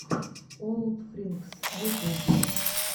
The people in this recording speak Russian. олдфринкс ютюб